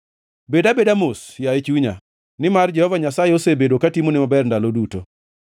Bed abeda mos, yaye chunya, nimar Jehova Nyasaye osebedo katimoni maber ndalo duto.